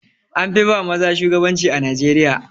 An fi ba maza shugabanci a Najeriya.